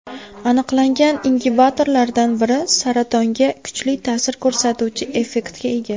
Aniqlangan ingibitorlardan biri saratonga kuchli ta’sir ko‘rsatuvchi effektga ega.